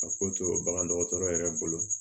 A ko to bagan dɔgɔtɔrɔ yɛrɛ bolo